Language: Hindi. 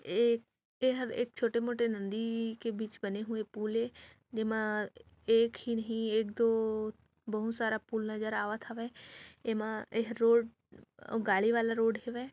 ए एहर एक छोटे मोटे नंदी के बीच बने हुए फूल ए एमा एक ही एक बहुत सारा फूल नजर आवत हावे एमा एहर रोड औ गाड़ी वाला रोड हे वे--